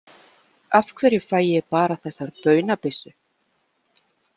Af hverju fæ ég bara þessa baunabyssu?